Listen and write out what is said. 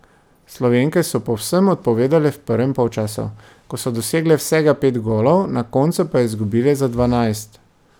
Slovenke so povsem odpovedale v prvem polčasu, ko so dosegle vsega pet golov, na koncu pa izgubile za dvanajst.